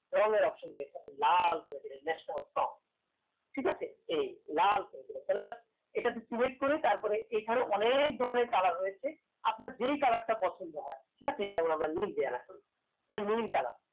রং এর option রয়েছে লাল করে দিলেন national song ঠিকাছে এই লাল করে দিলেন তাহলে just এটাতে select করে তারপরে এখানে অনেক ধরনের colour রয়েছে আপনার যে colour তা পছন্দ হয় just এই যেমন আমরা নীল দিয়ে রাখলাম নীল colour